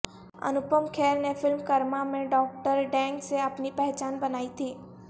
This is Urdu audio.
انوپم کھیر نے فلم کرما میں ڈاکٹر ڈینگ سے اپنی پہچان بنائی تھی